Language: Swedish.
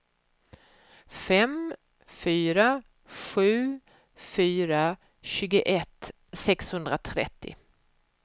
fem fyra sju fyra tjugoett sexhundratrettio